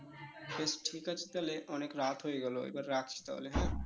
ঠিক আছে তালে অনেক রাত হয়ে গেলো এবার রাখছি তাহলে হ্যাঁ?